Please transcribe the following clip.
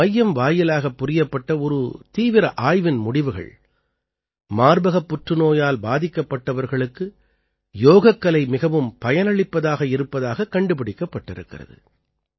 இந்த மையம் வாயிலாகப் புரியப்பட்ட ஒரு தீவிர ஆய்வின் முடிவுகள் மார்பகப் புற்றுநோயால் பாதிக்கப்பட்டவர்களுக்கு யோகக்கலை மிகவும் பயனளிப்பதாக இருப்பதாகக் கண்டுபிடிக்கப்பட்டிருக்கிறது